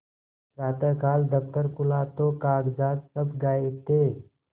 प्रातःकाल दफ्तर खुला तो कागजात सब गायब थे